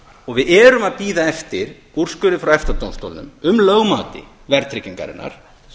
og við erum að bíða eftir úrskurði frá efta dómstólnum um lögmæti verðtryggingarinnar